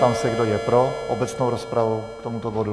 Ptám se, kdo je pro obecnou rozpravu k tomuto bodu.